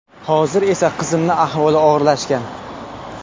Hozir esa qizimni ahvoli og‘irlashgan.